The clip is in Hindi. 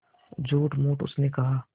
झूठमूठ उसने कहा